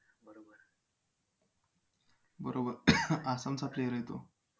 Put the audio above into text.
बरोबर आसामचा player आहे तो